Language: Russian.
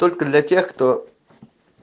только для тех кто